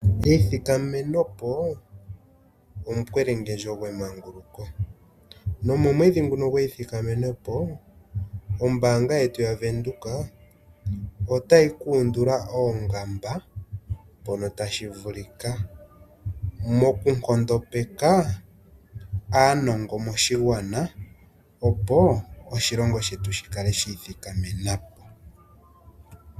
Eyithikamenopo omukwelengendjo gwemanguluko. Nomomwedhi nguno gweyithikamenopo, oombaanga yetu yaVenduka, otayi kuundula oongamba mpono tashi vulika moku nkondopeka aanongo moshigwana opo oshilongo shetu shi kale shiithikamena po.